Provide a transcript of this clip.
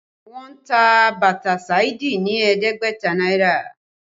Wọ́n ta bàtà Saidi ní ẹ̀ẹ́dẹ́gbẹ̀ta náírà